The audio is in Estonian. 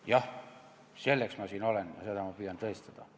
Jah, selleks ma siin olen ja seda ma püüan tõestada.